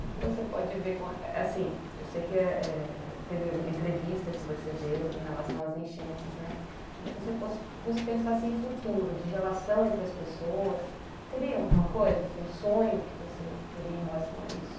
O que que você pode ver, eu sei que teve entrevista que você deu em relação às enchentes, mas se você fosse pensar em futuro, de relação entre as pessoas, teria alguma coisa, um sonho que você teria em relação a isso?